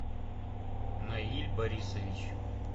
наиль борисович